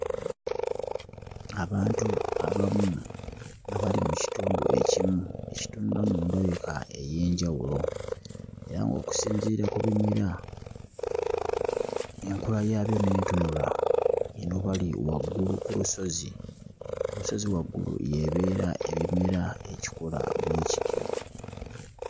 Abantu abamu nga bali mu kitundu ekimu... mu ndabika ey'enjawulo era ng'okusinziira ku bimera, enkula yaabyo n'entunula, eno bali waggulu ku lusozi. Ku lusozi waggulu y'ebeera ebimera ekikula bwe kityo.